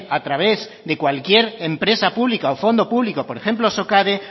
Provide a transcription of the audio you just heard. a través de cualquier empresa pública o fondo público por ejemplo socade